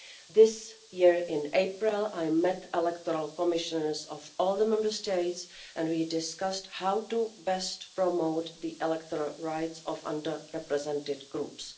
This year, in April, I met the electoral commissioners of all the Member States and we discussed how best to promote the electoral rights of under represented groups.